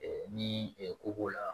Ɛɛ ni ko b'o la